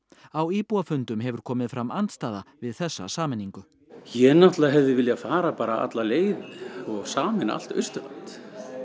á íbúafundum hefur komið fram andstaða við þessa sameiningu ég hefði viljað fara alla leið og sameina allt Austurland